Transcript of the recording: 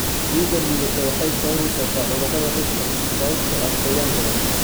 Ciidda liidata waxay sababi kartaa cudurrada dhirta sababtoo ah qoyaan badan.